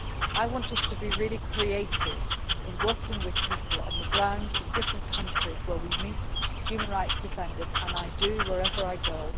I want us to be really creative in working with people on the ground in different countries where we meet human rights defenders and I do wherever